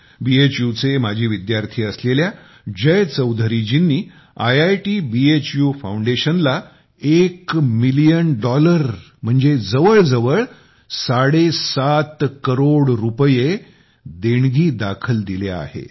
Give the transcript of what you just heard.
भू चे माजी विद्यार्थी असलेल्या जय चौधरीजींनी आयआयटी भू फाउंडेशनला एक मिलियन डॉलर म्हणजे जवळजवळ साडेसात करोड रुपये देणगीदाखल दिले आहेत